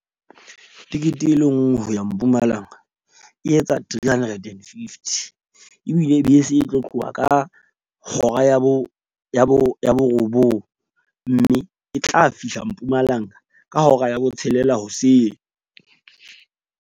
Tekete e le nngwe ho ya Mpumalanga, e etsa three hundred and fifty. Ebile bese e tlo tloha ka hora ya bo borobong, mme e tla fihla Mpumalanga ka hora ya botshelela hoseng.